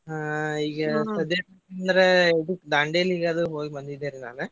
ಹಾ ಈಗ ಸದ್ಯಕ್ ಅಂದ್ರ ಇದಕ್ಕ್ Dandeli ಗದು ಹೋಗ್ ಬಂದಿದ್ದೆ ರಿ ನಾನ್.